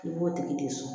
I b'o tigi de sɔn